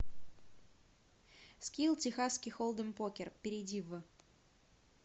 скилл техасский холдем покер перейди в